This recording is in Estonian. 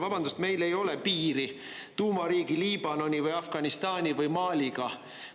Vabandust, meil ei ole piiri tuumariigi Liibanoni või Afganistani või Maliga.